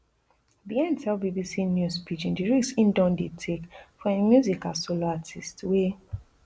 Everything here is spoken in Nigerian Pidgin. bien tell bbc news pidgin di risk e don dey take for im music as solo artiste wey